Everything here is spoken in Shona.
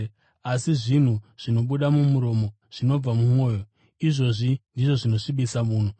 Asi zvinhu zvinobuda mumuromo zvinobva mumwoyo, izvozvi ndizvo zvinosvibisa munhu.